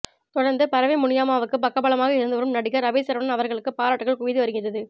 தொடர்ந்து பரவை முனியம்மாவுக்கு பக்கபலமாக இருந்து வரும் நடிகர் அபி சரவணன் அவர்களுக்கு பாராட்டுக்கள் குவிந்து வருகிறது